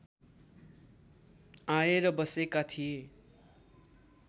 आएर बसेका थिए